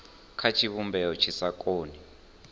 kha tshivhumbeo tshi sa koni